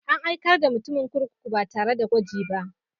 An aikar da mutumin kurkuku ba tare da gwaji ba.